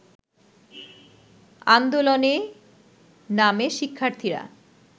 আন্দোলনে নামে শিক্ষার্থীরা